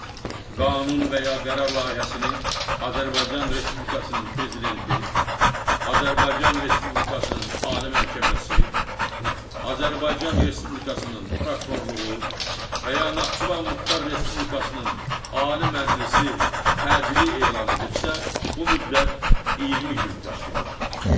Qanun və ya qərar layihəsini Azərbaycan Respublikasının prezidenti, Azərbaycan Respublikasının Ali Məhkəməsi, Azərbaycan Respublikasının prokurorluğu və ya Naxçıvan Muxtar Respublikasının Ali Məclisi təcili elan edibsə, bu müddət 20 gün təşkil edir.